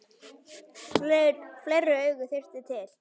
Fleiri augu þyrfti til.